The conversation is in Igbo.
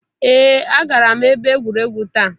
Ee agara m ebe egwuregwu taa.